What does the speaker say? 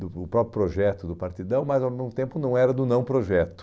do do próprio projeto do Partidão, mas ao mesmo tempo não era do não-projeto.